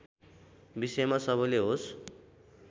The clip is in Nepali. विषयमा सबैले होस